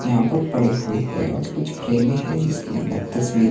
यहां पर पड़े हुए हैं और कुछ फ्रेमें है जिसके अंदर तस्वीरें--